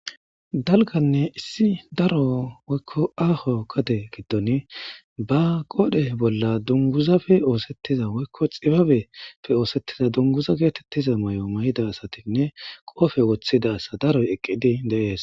Dalganne issi daro woykko aaho gedee giddon ba qoodhe bolla dunguzafe oosettiza woykko xibabeppe oosettiza dunguza geetettiza mayo may'ida asatinne qoofe wottisda asa daroy eqqidi de'ees.